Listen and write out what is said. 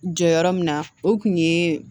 Jɔyɔrɔ min na o kun ye